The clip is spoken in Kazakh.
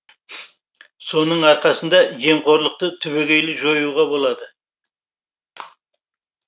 соның арқасында жемқорлықты түбегейлі жоюға болады